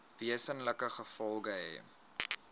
wesenlike gevolge hê